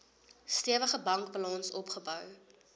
stewige bankbalans opgebou